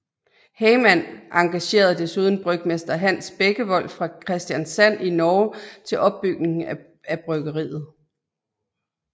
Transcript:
Heyman engagerede desuden brygmester Hans Bekkevold fra Kristianssand i Norge til opbygning af bryggeriet